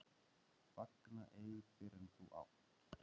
Fagna ei fyrr en þú átt.